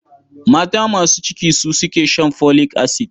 Mata masu ciki su suke shan folic acid.